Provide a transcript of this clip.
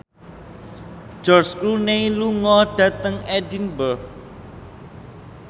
George Clooney lunga dhateng Edinburgh